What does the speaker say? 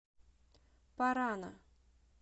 парана